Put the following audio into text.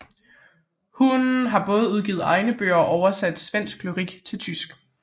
Hun har både udgivet egne bøger og oversat svensk lyrik til tysk